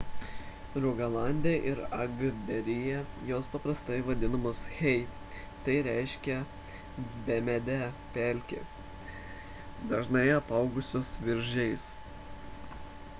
rugalande ir agderyje jos paprastai vadinamos hei tai reiškia bemedę pelkę dažnai apaugusią viržiais